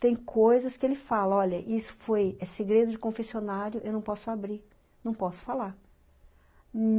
Tem coisas que ele fala, olha, isso foi, é segredo de confessionário, eu não posso abrir, não posso falar.